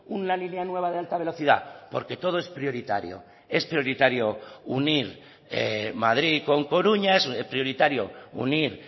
una línea nueva de alta velocidad porque todo es prioritario es prioritario unir madrid con coruña es prioritario unir